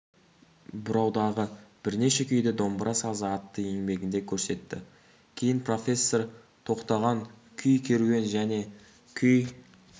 бұраудағы бірнеше күйді домбыра сазы атты еңбегінде көрсетті кейін профессор тоқтаған күй керуен және күй